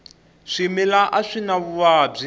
swimila a swi na vuvabyi